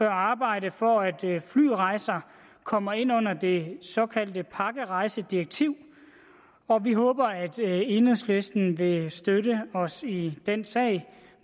arbejde for at flyrejser kommer ind under det såkaldte pakkerejsedirektiv og vi håber at enhedslisten vil støtte os i den sag